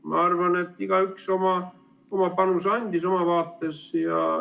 Ma arvan, et igaüks andis panuse oma vaates.